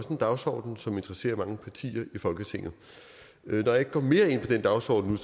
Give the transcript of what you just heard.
en dagsorden som interesserer mange partier i folketinget når jeg ikke går mere ind i den dagsorden